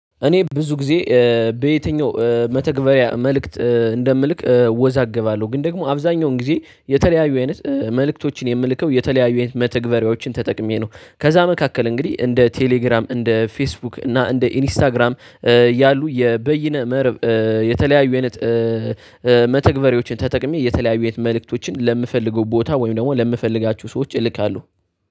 እኔ ብዙ ጊዜ በየትኛው መተግበሪያ መልእክት እንደምልክ አወዛገባለው። ግን ደግሞ አብዛኛውን ጊዜ የተለያዩ አይነት መልእክቶችን የምልከው የተለያዩ መተግበሪያዎችን ተጠቅሜ ነው። ከዛ መካከል እንግዲህ እንደ ቴሌግራም እንደ ፌስቡክ እና እንደ ኢንስታግራም ያሉ የበይነ መረብ የተለያዩ አይነት መተግበሪያዎችን ተጠቅሜ የተለያዩ የት መልእክቶችን ለምፈልገው ቦታ ወይም ደግሞ ለምፈልጋችሁ ሰዎች እልካለሁው።